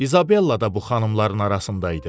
İsabella da bu xanımların arasında idi.